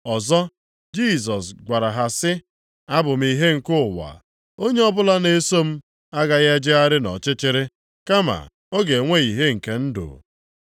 Ọzọ, Jisọs gwara ha sị, “Abụ m ihe nke ụwa. Onye ọbụla na-eso m agaghị ejegharị nʼọchịchịrị, kama ọ ga-enwe ìhè nke ndụ.”